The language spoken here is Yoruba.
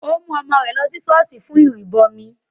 Ó mú ọmọ rẹ̀ lọ sí ṣọ́ọ̀ṣì fún ìrìbọmi